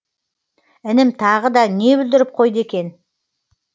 інім тағы да не бүлдіріп қойды екен